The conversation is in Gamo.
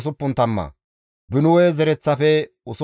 Biguwaye zereththafe 2,067;